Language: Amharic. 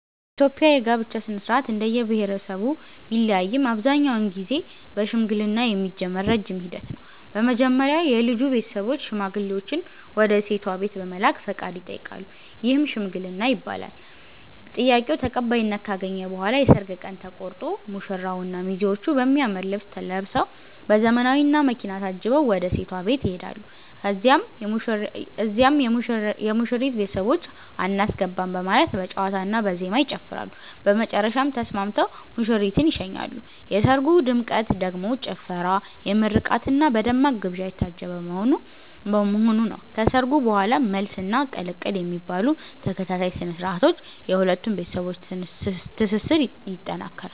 በኢትዮጵያ የጋብቻ ሥነ-ሥርዓት እንደየብሄረሰቡ ቢለያይም አብዛኛውን ጊዜ በሽምግልና የሚጀምር ረጅም ሂደት ነው። መጀመሪያ የልጁ ቤተሰቦች ሽማግሌዎችን ወደ ሴቷ ቤት በመላክ ፈቃድ ይጠይቃሉ፤ ይህም "ሽምግልና" ይባላል። ጥያቄው ተቀባይነት ካገኘ በኋላ የሰርግ ቀን ተቆርጦ ዝግጅት ይጀምራል። በሰርጉ ቀን ሙሽራውና ሚዜዎቹ በሚያምር ልብስ ለብሰዉ፤ በዘመናዊ መኪና ታጅበው ወደ ሴቷ ቤት ይሄዳሉ። እዚያም የሙሽሪት ቤተሰቦች "አናስገባም " በማለት በጨዋታና በዜማ ይጨፍራሉ፤ በመጨረሻም ተስማምተው ሙሽሪትን ይሸኛሉ። የሰርጉ ድምቀት ደግሞ ጭፈራ፣ በምርቃትና በደማቅ ግብዣ የታጀበ መሆኑ ነው። ከሰርጉ በኋላም "መልስ" እና "ቅልቅል" የሚባሉ ተከታታይ ስነ-ስርዓቶች የሁለቱን ቤተሰቦች ትስስር ይጠነክራል።